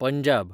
Punjab